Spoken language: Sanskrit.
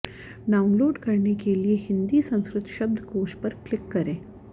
डाउनलोड करने के लिए हिन्दी संस्कृत शब्दकोश पर क्लिक करें